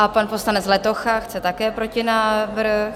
A pan poslanec Letocha chce také protinávrh.